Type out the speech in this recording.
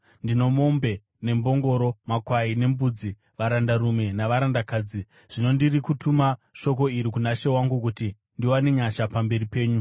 Ndine mombe nembongoro, makwai nembudzi, varandarume navarandakadzi. Zvino ndiri kutuma shoko iri kuna she wangu, kuti ndiwane nyasha pamberi penyu.’ ”